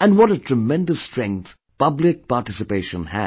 and what a tremendous strength public participation has